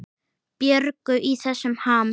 Björgu í þessum ham.